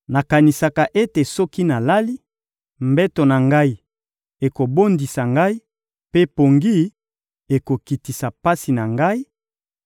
Nakanisaka ete soki nalali, mbeto na ngai ekobondisa ngai mpe pongi ekokitisa pasi na ngai;